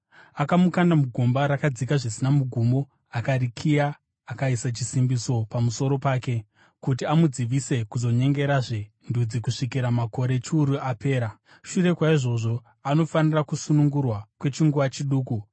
Akamukanda mugomba rakadzika zvisina mugumo, akarikiya, akaisa chisimbiso pamusoro pake, kuti amudzivise kuzonyengerazve ndudzi kusvikira makore chiuru apera. Shure kwaizvozvo, anofanira kusunungurwa kwechinguva chiduku.